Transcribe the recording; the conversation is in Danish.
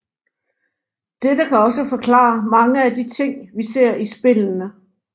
Dette kan også forklare mange af de ting vi ser i spillene